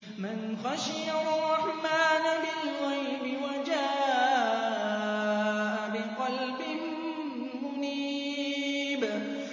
مَّنْ خَشِيَ الرَّحْمَٰنَ بِالْغَيْبِ وَجَاءَ بِقَلْبٍ مُّنِيبٍ